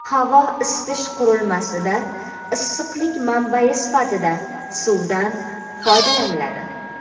Havo-isitish qurilmasida issiqlik manbai sifatida suvdan foydalaniladi.